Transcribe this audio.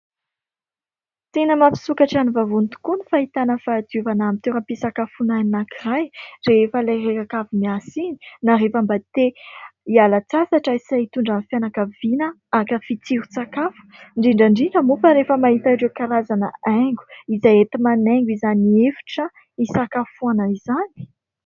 Tena mampisokatra ny vavony tokoa ny fahitana fahadiovana amin'ny toeram-pisakafoana anankiray rehefa ilay reraka miasa iny na rehefa mba te hialan-tsasatra sy hitondra ny fianakaviana hankafy tsiron-tsakafo ; indrindra indrindra moa fa rehefa mahita ireo karazana haingo izay enti-manaingo izany efitra hisakafoana izany.